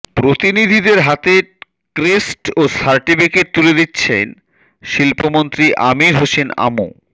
প্রতিনিধিদের হাতে ক্রেস্ট ও সার্টিফিকেট তুলে দিচ্ছেন শিল্পমন্ত্রী আমির হোসেন আমু